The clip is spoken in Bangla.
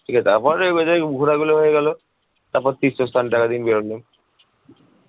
ঠিক আছে তারপরে ঘোরাগুলো হয়ে গেলো তারপর তীর্থস্থানটা